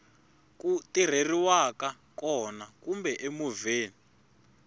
ku tirheriwaka kona kumbe emovheni